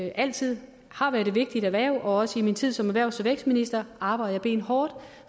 altid har været et vigtigt erhverv og også i min tid som erhvervs og vækstminister arbejdede jeg benhårdt